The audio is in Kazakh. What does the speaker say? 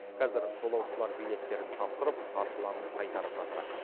қазір жолаушылар билеттерін тапсырып қаржыларын қайтарып жатыр